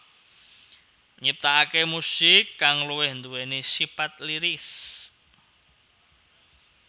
Nyiptaaké musik kang luwih duwéni sipat lyris